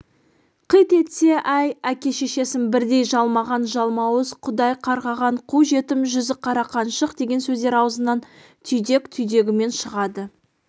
қит етсе әй әке-шешесін бірдей жалмаған жалмауыз құдай қарғаған қу жетім жүзіқара қаншық деген сөздер аузынан түйдек-түйдегімен шығады